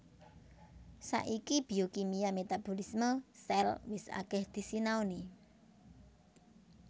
Saiki biokimia metabolisme sel wis akèh disinaoni